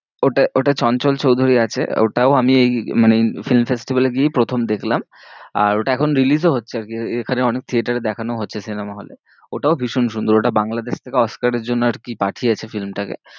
ওটা ওটা চঞ্চল চৌধুরী আছে, ওটাও আমি এই মানে এই film festival এ গিয়েই প্রথম দেখলাম আর ওটা এখন release ও হচ্ছে আর কি এখানে অনেক থিয়েটারে দেখানোও হচ্ছে সিনেমা হলে, ওটাও ভীষণ সুন্দর ওটা বাংলাদেশ থেকে অস্কারের জন্য আর কি পাঠিয়েছে film টাকে,